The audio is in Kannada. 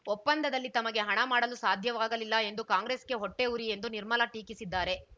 ಒಪ್ಪಂದದಲ್ಲಿ ತಮಗೆ ಹಣ ಮಾಡಲು ಸಾಧ್ಯವಾಗಲಿಲ್ಲ ಎಂದು ಕಾಂಗ್ರೆಸ್‌ಗೆ ಹೊಟ್ಟೆಉರಿ ಎಂದು ನಿರ್ಮಲಾ ಟೀಕಿಸಿದ್ದಾರೆ